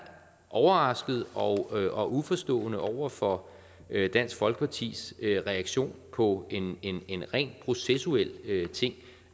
overrasket og og uforstående over for dansk folkepartis reaktion på en ren processuel ting